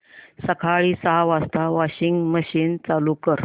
सकाळी सहा वाजता वॉशिंग मशीन चालू कर